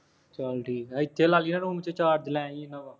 ਚੱਲ ਠੀਕ ਹੈ, ਇੱਥੇ ਲੱਗ ਜਾ ਹੁਣ ਜੇ ਚਾਰਜ ਲਾਏਗਾ